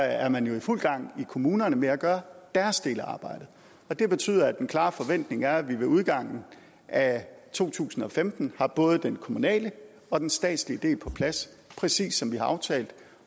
er man jo i fuld gang i kommunerne med at gøre deres del af arbejdet det betyder at den klare forventning er at vi ved udgangen af to tusind og femten har både den kommunale og den statslige del på plads præcis som vi har aftalt